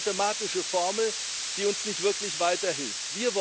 Das ist eine mathematische Formel, die uns nicht wirklich weiterhilft.